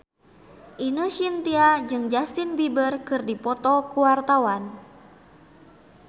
Ine Shintya jeung Justin Beiber keur dipoto ku wartawan